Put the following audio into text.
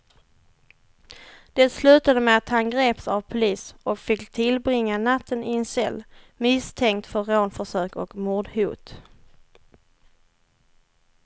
Det slutade med att han greps av polis och fick tillbringa natten i en cell, misstänkt för rånförsök och mordhot.